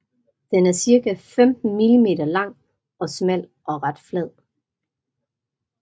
Den er cirka 15 millimeter lang og smal og ret flad